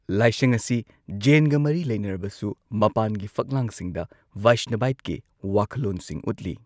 ꯂꯥꯏꯁꯪ ꯑꯁꯤ ꯖꯩꯟꯒ ꯃꯔꯤ ꯂꯩꯅꯔꯕꯁꯨ ꯃꯄꯥꯟꯒꯤ ꯐꯛꯂꯥꯡꯁꯤꯡꯗ ꯚꯩꯁꯅꯚꯥꯢꯠꯀꯤ ꯋꯥꯈꯜꯂꯣꯟꯁꯤꯡ ꯎꯠꯂꯤ꯫